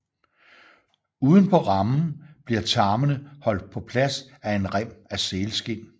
Uden på rammen bliver tarmene holdt på plads af en rem af sælskind